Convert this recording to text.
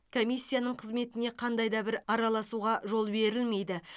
комиссиясының қызметіне қандай да бір араласуға жол берілмейді